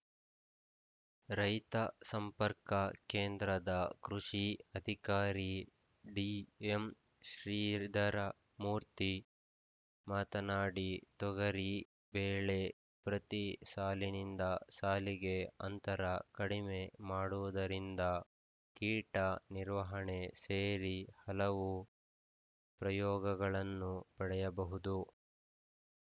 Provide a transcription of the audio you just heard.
ರೈತ ಸಂಪರ್ಕ ಕೇಂದ್ರದ ಕೃಷಿ ಅಧಿಕಾರಿ ಡಿಎಂಶ್ರೀಧರ ಮೂರ್ತಿ ಮಾತನಾಡಿ ತೊಗರಿ ಬೆಳೆ ಪ್ರತಿ ಸಾಲಿನಿಂದ ಸಾಲಿಗೆ ಆಂತರ ಕಡಿಮೆ ಮಾಡುವುದರಿಂದ ಕೀಟ ನಿರ್ವಹಣೆ ಸೇರಿ ಹಲವು ಪ್ರಯೋಗಗಳನ್ನು ಪಡೆಯಬಹುದು